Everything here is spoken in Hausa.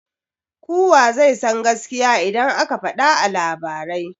Kuwa zai san gaskiya idan aka fada a labarai